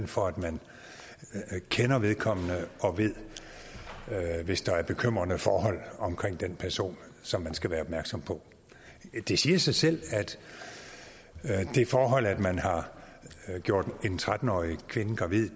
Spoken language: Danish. for at man skal kende vedkommende og vide hvis der er bekymrende forhold omkring den person som man skal være opmærksom på det siger sig selv at det forhold at man har gjort en tretten årig kvinde gravid